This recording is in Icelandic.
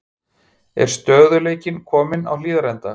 Er stöðugleikinn kominn á Hlíðarenda?